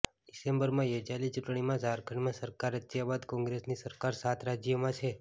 ડિસેમ્બરમાં યોજાયેલી ચૂંટણીમાં ઝારખંડમાં સરકાર રચ્યા બાદ કોંગ્રેસની સરકાર સાત રાજ્યોમાં છે